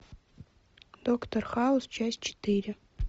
доктор хаус часть четыре